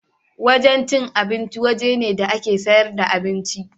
Wajen cin abinci waje ne da ake siyar da abinci.